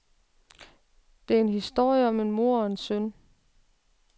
Det er historien om en mor og en søn.